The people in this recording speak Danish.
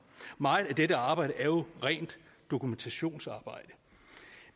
meget af det arbejde er jo rent dokumentationsarbejde